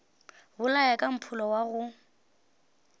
bolaya ka mpholo wa go